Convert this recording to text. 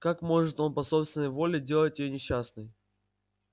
как может он по собственной воле делать её несчастной